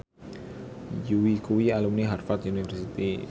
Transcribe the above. Yui kuwi alumni Harvard university